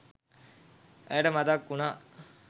ඇයට මතක් වුණා